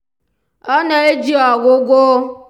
ọ na-eji ọgwụgwọ